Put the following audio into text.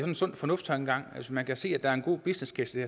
en sund fornuft tankegang hvis man kan se at der er en god business case i